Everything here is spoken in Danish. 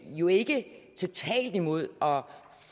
jo ikke er totalt imod og